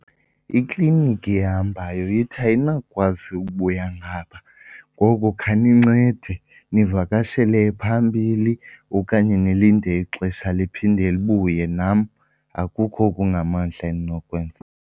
Ikliniki ehambayo ithi ayinakukwazi ukubuya ngapha ngoku khanincede nivakashele ephambili okanye nilinde ixesha niphinde nibuye. Nam akukho okungamandla endinokwenza.